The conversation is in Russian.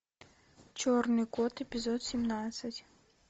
черный кот эпизод семнадцать